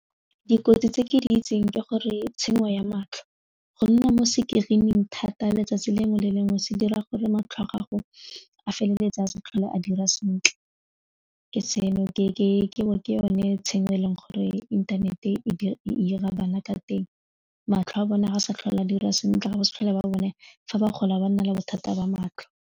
Dikotsi tse ke di itseng ke gore tshenyo ya matlho go nna mo screen-ing thata letsatsi lengwe le lengwe se dira gore matlho a gago a feleletse a sa tlhole a dira sentle ke yone tshenyo eleng gore inthanete e ira bana ka teng, matlho a bone a sa tlhole di dira sentle ga ba sa tlhola ba bone fa ba gola ba nna le bothata ba matlho.